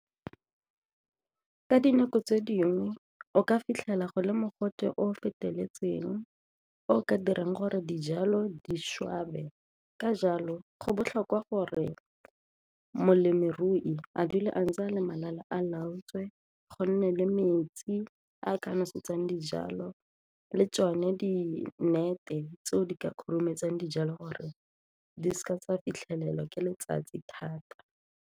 Ka dinako tse dingwe o ka fitlhela go le mogote o o feteletseng o o ka dirang gore dijalo di swabe ka jalo go botlhokwa gore ka molemirui a dula a ntse a le malala a laotswe go nne le metsi a ka nosetsang dijalo le tsone di nnete tseo di ka khurumetsa dijalo gore di seka tsa fitlhelelwa ke letsatsi thata.